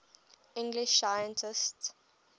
english scientists